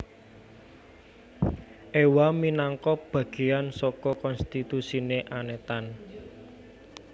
Ewa minangka bagéan saka konstituensi Anetan